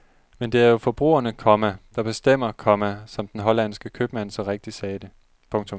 Men det er jo forbrugerne, komma der bestemmer, komma som den hollandske købmand så rigtig sagde det. punktum